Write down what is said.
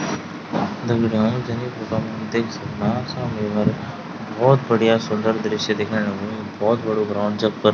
दगड़ियों जन ई फोटो म देख सकदा सामणे फर भौत बढ़िया सुन्दर दृश्य दिखेणू भौत बडू ग्राउंड जख पर --